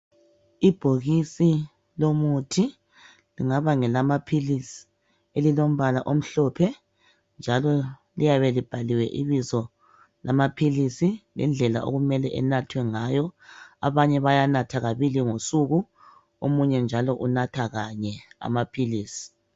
ibhokisi lomuthi lingaba ngelamaphilisi elilombala omhlophe njalo liyabe libhaliwe ibizo lamaphilisi lendlela okumele inathwe ngayo abanye bayanatha kabili ngosuku omunye njalo unatha kanye amaphilisi